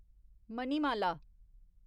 Manimala